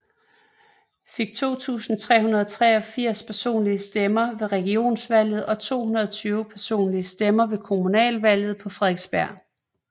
Fik 2383 personlige stemmer ved Regionsvalget og 220 personlige stemmer ved kommunalvalget på Frederiksberg